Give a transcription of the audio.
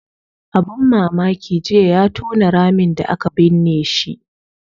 Abun mamaki jiya ya tona ramin da aka binne shi